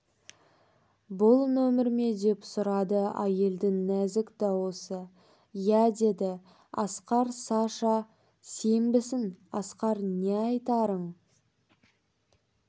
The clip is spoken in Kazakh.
бұл нөмер ме деп сұрады әйелдің нәзік даусы иә деді асқар саша сенбісің асқар не айтарын